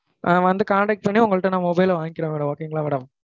ஆஹ் வந்து, contact பண்ணி, உங்கள்ட்ட நான் mobile வாங்கிக்குறேன் madam. Okay ங்களா madam